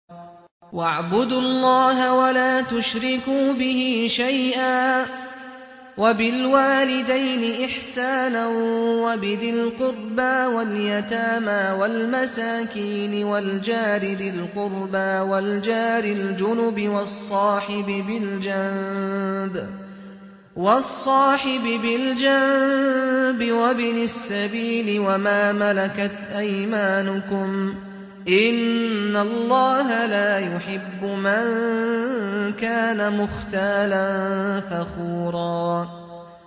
۞ وَاعْبُدُوا اللَّهَ وَلَا تُشْرِكُوا بِهِ شَيْئًا ۖ وَبِالْوَالِدَيْنِ إِحْسَانًا وَبِذِي الْقُرْبَىٰ وَالْيَتَامَىٰ وَالْمَسَاكِينِ وَالْجَارِ ذِي الْقُرْبَىٰ وَالْجَارِ الْجُنُبِ وَالصَّاحِبِ بِالْجَنبِ وَابْنِ السَّبِيلِ وَمَا مَلَكَتْ أَيْمَانُكُمْ ۗ إِنَّ اللَّهَ لَا يُحِبُّ مَن كَانَ مُخْتَالًا فَخُورًا